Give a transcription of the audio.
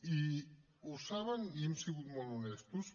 i ho saben i hem sigut molt honestos